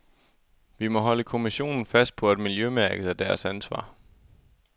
Vi må holde kommissionen fast på, at miljømærket er deres ansvar.